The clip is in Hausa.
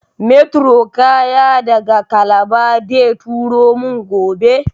meturo kaya daga kalaba deturomin gobe